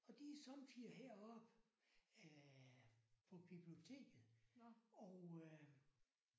Og de er somme tider heroppe øh på biblioteket og øh